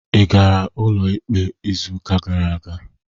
Ị gara ụlọikpe izuụka gara aga?